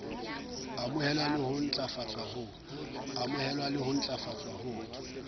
amohelwa le ho ntlafatswa ho